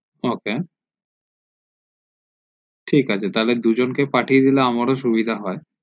ok ঠিক আছে তাহলে দুজনকে পাঠিয়ে দিলে আমরা ও সুবিধা হয়